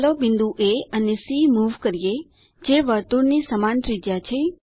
ચાલો બિંદુ એ અને સી મૂવ કરીએ જે વર્તુળ ની સમાન ત્રિજ્યા છે